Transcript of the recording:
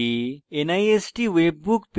এই tutorial শিখেছি